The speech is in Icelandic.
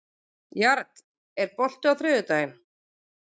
Jarl, er bolti á þriðjudaginn?